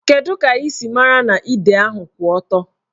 Kedụ ka ị siri mara na ide ahụ kwụ ọtọ?